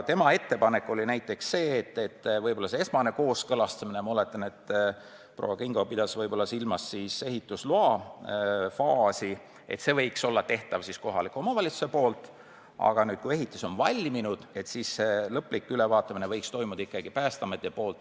Tema ettepanek oli, et esmase kooskõlastamise – ma oletan, et proua Kingo pidas silmas ehitusloa faasi – võiks anda kohalik omavalitsus, aga kui ehitis on valminud, siis lõplik ülevaatamine võiks ikkagi jääda Päästeameti teha.